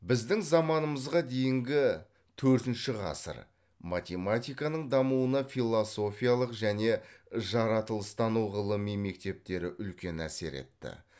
біздің заманымызға дейінгі төртінші ғасыр математиканың дамуына философиялық және жаратылыстану ғылыми мектептері үлкен әсер етті